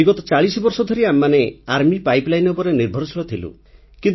ବିଗତ ଚାଳିଶ ବର୍ଷ ଧରି ଆମେମାନେ ଆର୍ମି ପାଇପଲାଇନ୍ ଉପରେ ନିର୍ଭରଶୀଳ ଥିଲୁ